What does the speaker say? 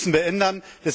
Das müssen wir ändern.